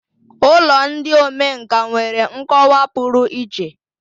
Ụlọ ndị omenkà nwere nkọwa pụrụ iche.